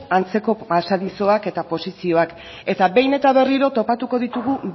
antzeko pasadizoak eta posizioak eta behin eta berriro topatuko ditugu